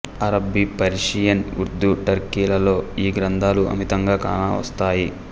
అరబ్బీ Persian Urdu Turkey లలో ఈ గ్రంథాలు అమితంగా కాన వస్తాయి